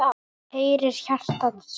heyri hjartað slá.